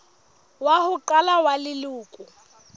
wa ho qala wa leloko